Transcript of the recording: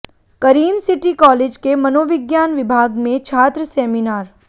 करीम city college के मनोविज्ञान विभाग में छात्र सेमिनार